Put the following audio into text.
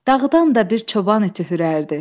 Dağdan da bir çoban iti hürərdi.